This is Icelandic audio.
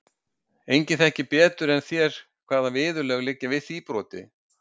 Enginn þekkir betur en þér hvaða viðurlög liggja við því broti.